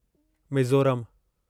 मीज़ोरमु